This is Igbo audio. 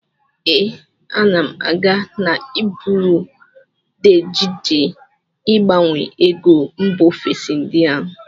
Ee, ana m aga na buru de chenji ịgbanwe ego mba ofesi ndị ahụ.